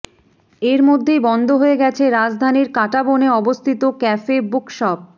এর মধ্যেই বন্ধ হয়ে গেছে রাজধানীর কাঁটাবনে অবস্থিত ক্যাফে বুকশপ